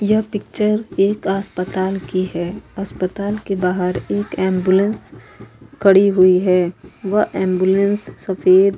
यह पिक्चर एक अस्पताल की है। अस्पताल के बाहर एक एम्बुलेंस खड़ी हुई है। वह एम्बुलेंस सफेद --